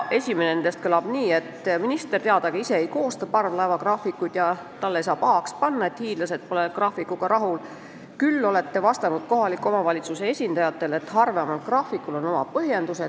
Minister, teadagi, ise parvlaevagraafikuid ei koosta ja talle ei saa pahaks panna, et hiidlased pole graafikuga rahul, ometi on ta vastanud kohaliku omavalitsuse esindajatele, et harvemal graafikul on oma põhjendused.